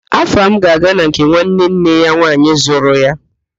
Afam ga-aga na nke nwanne nne ya nwaanyị zụrụ ya